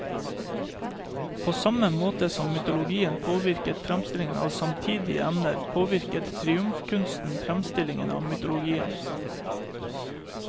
På samme måte som mytologien påvirket fremstillingen av samtidige emner, påvirket triumfkunsten fremstillingen av mytologien.